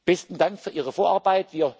genügt. Besten Dank für Ihre